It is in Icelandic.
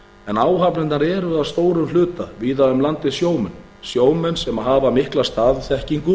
en áhafnirnar eru að stóru hluta víða um landið sjómenn sjómenn sem hafa mikla staðþekkingu